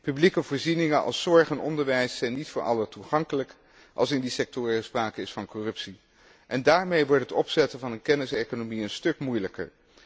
Publieke voorzieningen als zorg en onderwijs zijn niet voor allen toegankelijk als in die sectoren sprake is van corruptie, en daarmee wordt het opzetten van een kenniseconomie een stuk moeilijker.